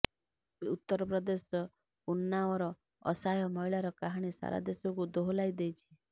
ଉତର ପ୍ରଦେଶ ଉନ୍ନାଓର ଅସହାୟ ମହିଳାର କାହାଣୀ ସାରା ଦେଶକୁ ଦୋହଲାଇ ଦେଇଛି